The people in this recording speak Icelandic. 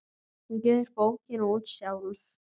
Hún gefur bókina út sjálf.